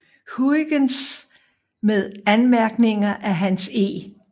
Huygens med anmærkninger af Hans E